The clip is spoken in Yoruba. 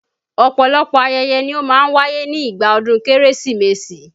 Ọ̀pọ̀lọpọ̀ ayẹyẹ ni ó máa ń wáyé ni ìgbà ọdún Kérésìmesì